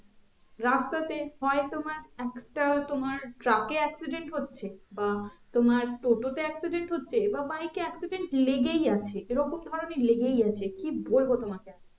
রাস্তা তে হয়ে তোমার একটা তোমার truck এ accident হচ্ছে বা তোমার টোটো তে accident হচ্চে বা bike এ accident লেগেই আছে এরকম ধরণের লেগেই আছে কি বলবো তোমাকে আমি